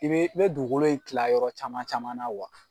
I bee i bɛ dugukolo in tila yɔrɔ caman caman na